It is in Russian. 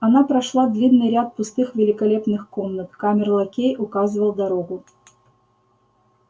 она прошла длинный ряд пустых великолепных комнат камер-лакей указывал дорогу